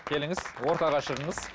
келіңіз ортаға шығыңыз